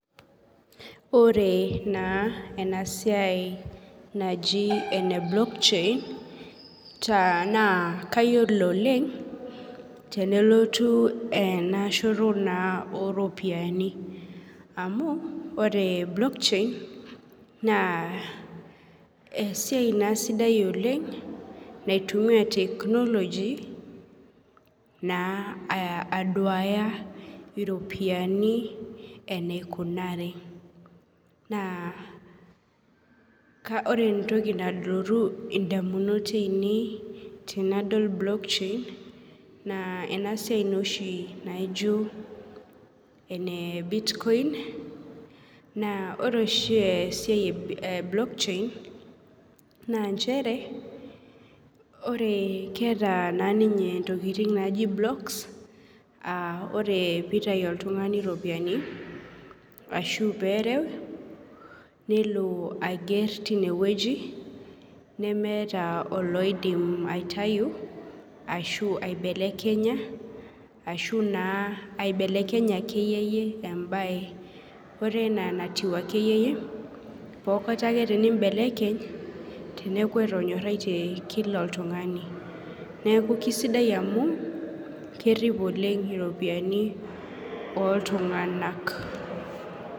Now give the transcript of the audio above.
Ore na enasiai naji ene block chain na kayiolo oleng tenelotu enaalo oropiyiani amu ore block chain na esiai na sidai oleng na aduaya iropiyiani enikunari na ore entoki nalotu ndamunot ainei tanadol na enasiai nooshi naijo ene bitcoin na ore oshi enasiai e block chain na nchere ore keeta ninye ninye ntokitin naijo blocks na ore ninye pitau oltungani ropiyani ahubperew nelo aiger tinewueji nemeetaboloidimbaitau nemeeta oloidim aibelekenya embae ore ena enatiu akeyie eneaku etanyorayie kila oltungani neaku kesidai amu kerip oleng iropiyiani oltunganak.